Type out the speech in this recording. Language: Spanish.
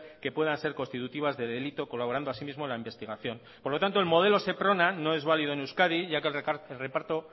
que puedan ser constitutivas de delito colaborando así mismo la investigación por lo tanto el modelo seprona no es válido en euskadi ya que el reparto